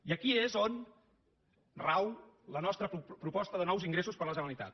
i aquí és on rau la nostra proposta de nous ingressos per a la generalitat